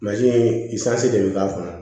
isansi de bɛ k'a kɔnɔ